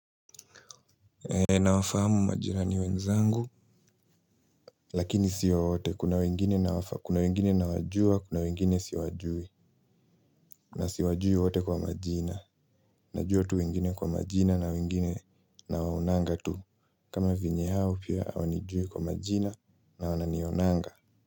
Nawafahamu majirani wenzangu lakini sio wote, kuna wengine nawajua, kuna wengine siwajui na siwajui wote kwa majina. Najua tu wengine kwa majina na wengine na waonanga tu kama venye hao pia hawanijui kwa majina na wananionanga.